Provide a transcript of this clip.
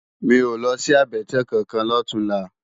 Mi ó lòsi àbètè kánkán lòtúnlá